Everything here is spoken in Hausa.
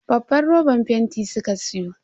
Babban roban fenti suka siyo.